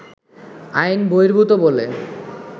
আইন বহির্ভুত বলে